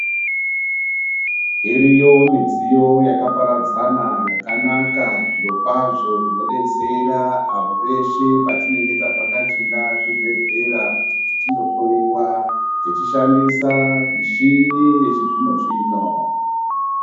Iriyo midziyo yakaperadzana yakanaka zvirokwazvo inodetsera apo peshe patinenge tavhakachira zvibhedhlera kuti tindohloiwa, tichishandisa mishini yechizvino-zvino.